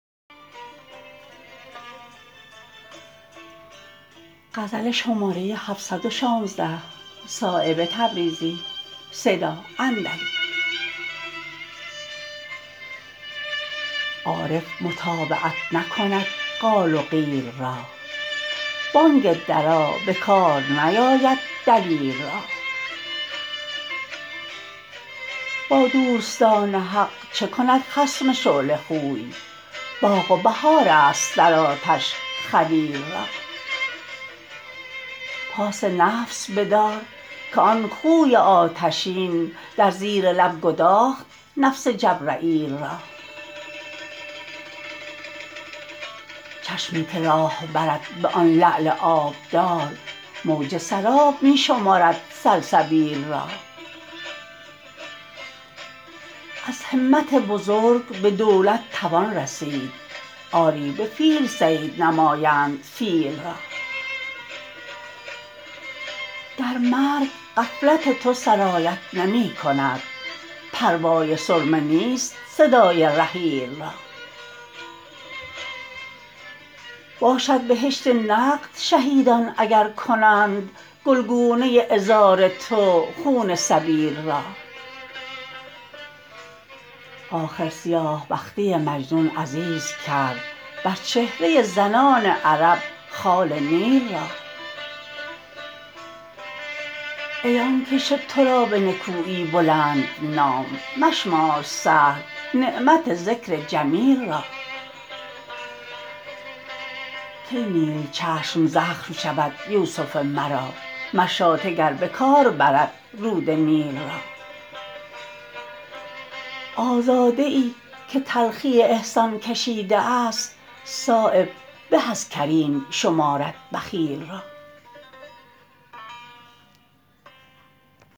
عارف متابعت نکند قال و قیل را بانگ درا به کار نیاید دلیل را با دوستان حق چه کند خصم شعله خوی باغ و بهارهاست در آتش خلیل را پاس نفس بدار که آن خوی آتشین در زیر لب گداخت نفس جبرییل را چشمی که راه برد به آن لعل آبدار موج سراب می شمرد سلسبیل را از همت بزرگ به دولت توان رسید آری به فیل صید نمایند فیل را در مرگ غفلت تو سرایت نمی کند پروای سرمه نیست صدای رحیل را باشد بهشت نقد شهیدان اگر کنند گلگونه عذار تو خون سبیل را آخر سیاه بختی مجنون عزیز کرد بر چهره زنان عرب خال نیل را ای آن که شد ترا به نکویی بلند نام مشمار سهل نعمت ذکر جمیل را کی نیل چشم زخم شود یوسف مرا مشاطه گر به کار برد رود نیل را آزاده ای که تلخی احسان کشیده است صایب به از کریم شمارد بخیل را